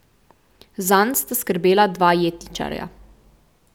Zanj sta skrbela dva jetničarja.